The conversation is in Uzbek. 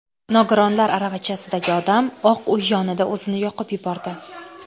Nogironlar aravachasidagi odam Oq Uy yonida o‘zini yoqib yubordi.